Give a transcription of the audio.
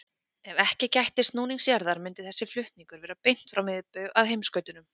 Ef ekki gætti snúnings jarðar myndi þessi flutningur vera beint frá miðbaug að heimskautunum.